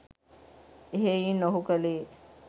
එහෙයින් ඔහු කළේ